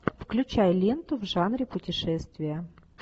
включай ленту в жанре путешествия